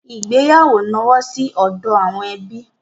Ìgbéyàwó nọwọ́ sí ọdọ àwọn ẹbí.